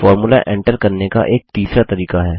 formula लिखने का एक तीसरा तरीका है